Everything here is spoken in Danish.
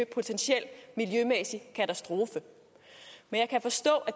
potentiel miljømæssig katastrofe men jeg kan forstå